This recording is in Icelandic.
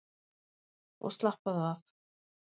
Og slappaðu af!